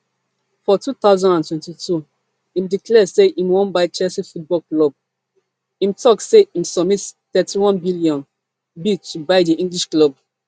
for two thousand and twenty-two im declare say im wan buy chelsea football club im tok say im submit thirty-onebn bid to buy di english club